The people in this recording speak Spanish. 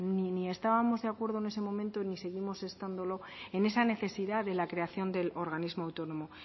ni estábamos de acuerdo en ese momento ni seguimos estándolo en esa necesidad de la creación del organismo autónomo